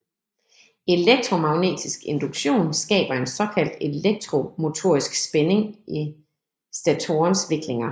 Elektromagnetisk induktion skaber en såkaldt elektromotorisk spænding i statorens viklinger